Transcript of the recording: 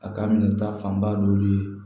A ka minɛ ta fanba dɔ bi